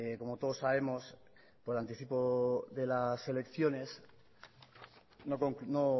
como todos sabemos por anticipo de las elecciones no